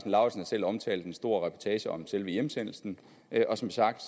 selv omtalt en stor reportage om selve hjemsendelsen og som sagt